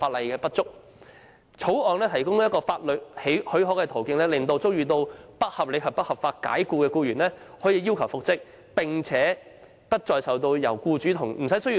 《條例草案》提供法律途徑，讓遭受不合理及不合法解僱的僱員不但可要求復職，而且復職無須僱主同意。